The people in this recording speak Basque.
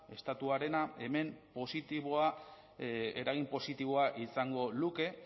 estatuarena hemen positiboa eragin positiboa izango luke